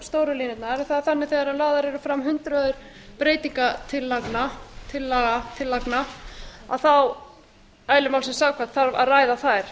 stóru liðina það er þannig að þegar lögð eru fram hundruð breytingartillagna þarf eðli málsins samkvæmt að ræða þær